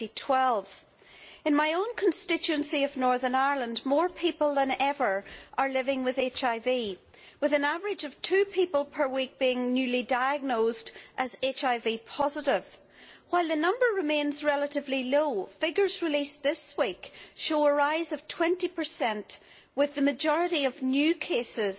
2012. In my own constituency of Northern Ireland, more people than ever are living with HIV, with an average of two people per week being newly diagnosed as HIV positive. While that number remains relatively low, figures released this week show a rise of 20, with the majority of new cases